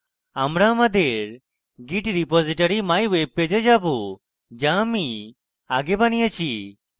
আমরা আমাদের git repository mywebpage we যাবো যা আমি আগে বানিয়েছি